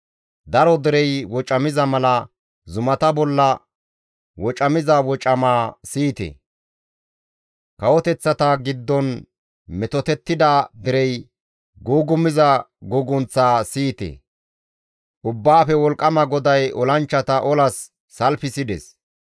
Daro derey wocamiza mala zumata bolla wocamiza wocamaa siyite! Kawoteththata giddon metottida derey gugumiza gugunththaa siyite! Ubbaafe Wolqqama GODAY olanchchata olas salfisides.